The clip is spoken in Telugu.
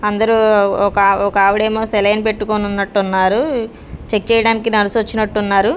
అందరూ ఒక ఆవ్ ఒకావిడేమో సెలైన్ పెట్టుకొనున్నట్టున్నారు చెక్ చేయడానికి నిర్సొచ్చినట్టున్నారు .